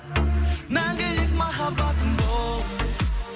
мәңгілік махаббатым бол